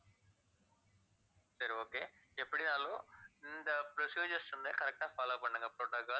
சரி okay எப்படினாலும் இந்த procedures வந்து, correct ஆ follow பண்ணுங்க protocol